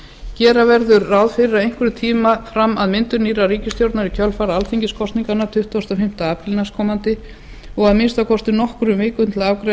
gera verður ráð fyrir einhverjum tíma fram að myndun nýrrar ríkisstjórnar í kjölfar alþingiskosninga tuttugasta og fimmta apríl næstkomandi og að minnsta kosti nokkrum vikum til að afgreiða